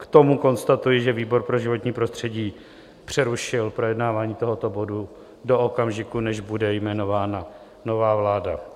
K tomu konstatuji, že výbor pro životní prostředí přerušil projednávání tohoto bodu do okamžiku, než bude jmenována nová vláda.